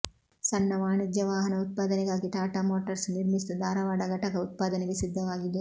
ಸಣ್ಣ ವಾಣಿಜ್ಯ ವಾಹನ ಉತ್ಪಾದನೆಗಾಗಿ ಟಾಟಾ ಮೋಟರ್ಸ್ ನಿರ್ಮಿಸಿದ ಧಾರವಾಡ ಘಟಕ ಉತ್ಪಾದನೆಗೆ ಸಿದ್ಧವಾಗಿದೆ